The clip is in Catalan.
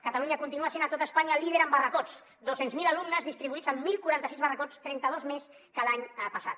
catalunya continua sent a tot espanya líder en barracots dos cents miler alumnes distribuïts en deu quaranta sis barracots trenta dos més que l’any passat